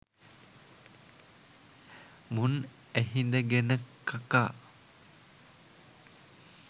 මුන් ඇහිඳගෙන කකා.